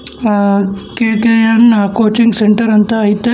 ಆ K K N coaching centre ಅಂತ ಐತೆ.